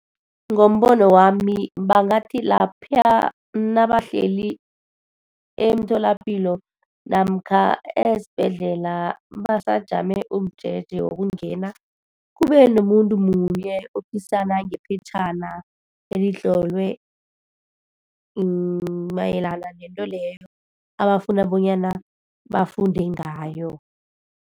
Ngombono wami bangathi lapha nabahleli emtholapilo namkha esibhedlela, basajame umjeje wokungena, kube nomuntu munye ophisana ngephetjhana elitlolwe mayelana nento leyo, abafuna bonyana bafunde ngayo.